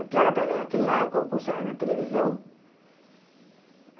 Que era para aquilo lá, o concurso era na televisão.